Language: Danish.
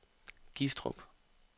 Gistrup